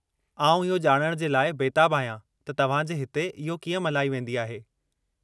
आउं इहो ॼाणण जे लाइ बेताबु आहियां त तव्हांजे हिते इहो कीअं मल्हाई वेंदी आहे।